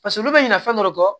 Paseke olu bɛ ɲina fɛn dɔ kɔ